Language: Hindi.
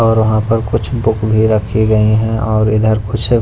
और वहां पर कुछ बुक भी रखी गई हैं और इधर कुछ--